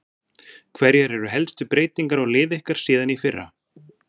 Hverjar eru helstu breytingar á liði ykkar síðan í fyrra?